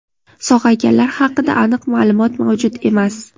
Sog‘ayganlar haqida aniq ma’lumot mavjud emas.